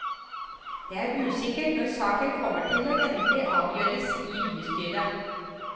Det er usikkert når saken kommer til endelig avgjørelse i bystyret.